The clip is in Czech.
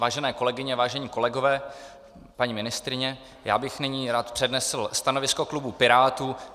Vážené kolegyně, vážení kolegové, paní ministryně, já bych nyní rád přednesl stanovisko klubu Pirátů.